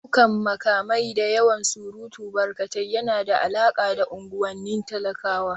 Ɗaukan makamai da yawan surutu barkatai yana da alaƙa da unguwannin talakawa